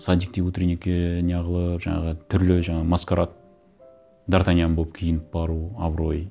садикте утренникке не қылып жаңағы түрлі жаңа маскарад д артаньян болып киініп бару абырой